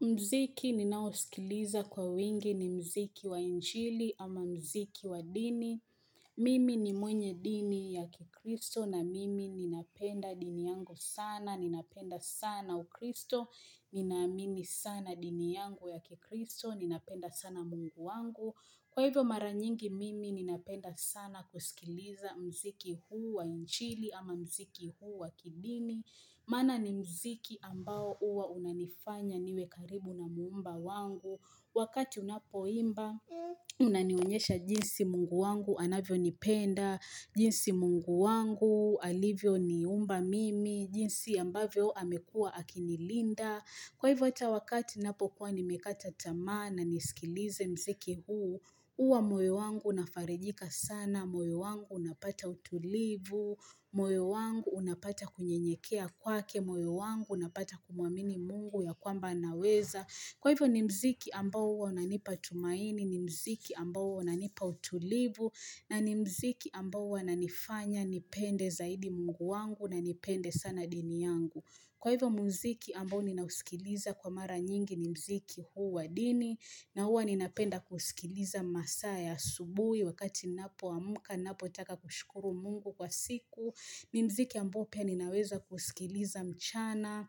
Mziki ninaosikiliza kwa wingi ni mziki wa injili ama mziki wa dini. Mimi ni mwenye dini ya kikristo na mimi ninapenda dini yangu sana. Ninapenda sana ukristo. Ninaamini sana dini yangu ya kikristo. Ninapenda sana mungu wangu. Kwa hivyo maranyingi mimi ninapenda sana kusikiliza mziki huu wa injili ama mziki huu wa kidini. Mana ni mziki ambao uwa unanifanya niwe karibu na muumba wangu. Wakati unapo imba, unanionyesha jinsi mungu wangu anavyo nipenda, jinsi mungu wangu alivyo ni umba mimi, jinsi ambavyo amekuwa akinilinda. Kwa hivyo atawakati napokuwa nimekata tamaa na nisikilize mziki huu, uwa moyo wangu unafarijika sana, moyo wangu unapata utulivu, moyo wangu unapata kunye nyekea kwake, moyo wangu unapata kumuamini mungu ya kwamba naweza. Kwa hivyo ni mziki ambao huwa unanipa tumaini, ni mziki ambao huwa unanipa utulivu, na ni mziki ambao huwa unanifanya nipende zaidi mungu wangu na nipende sana dini yangu. Kwa hivyo mziki ambao ninausikiliza kwa mara nyingi ni mziki huu wa dini, na huwa ninapenda kusikiliza masaa ya asubui wakati ninapo amka, ninapo taka kushukuru mungu kwa siku. Ni mziki ambao pia ninaweza kusikiliza mchana,